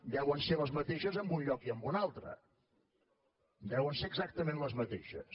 deuen ser les mateixes en un lloc i en un altre deuen ser exactament les mateixes